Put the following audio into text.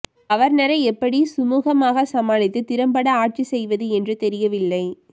கவர்னரை எப்படி சுமுகமா சமாளித்து திறம்பட ஆட்சி செய்வது என்று தெரியவில்லை